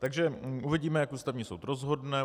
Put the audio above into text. Takže uvidíme, jak Ústavní soud rozhodne.